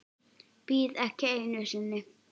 Bíð ekki einu sinni.